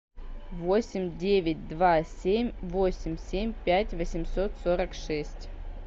восемь девять два семь восемь семь пять восемьсот сорок шесть